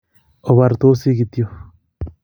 Obortosi kityo